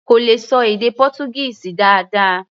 Kò lè ṣọ èdè Pọ́túgíìsì dáadáa.